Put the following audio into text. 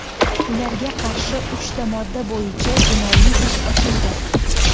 Ularga qarshi uchta modda bo‘yicha jinoiy ish ochildi.